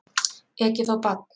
Ekið á barn